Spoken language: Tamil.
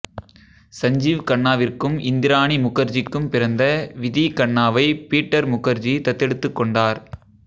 சஞ்சீவ் கண்ணாவிற்கும் இந்திராணி முகர்ஜிக்கும் பிறந்த விதி கண்ணாவை பீட்டர் முகர்ஜி தத்தெடுத்துக் கொண்டார்